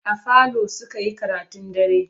A falo suka yi karatun dare.